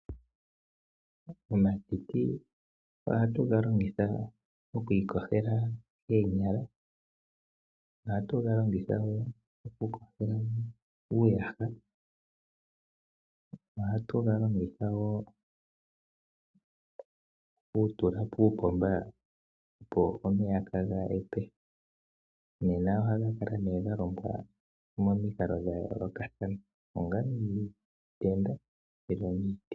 Omatiti ohatu ga longitha okuiyogela koonyala. Ohatu ga longitha wo okuyogela uuyaha, ohatu ga longitha wo okuga tula puupomba, opo omeya kaaga hepe. Ohaga kala nduno ga longwa momikalo dha yoolokathana, ongele omiitenda nenge miiti.